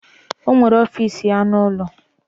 O nwere ọfiisi ya n'ụlọ.